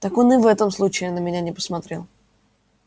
так он и в этом случае на меня не посмотрел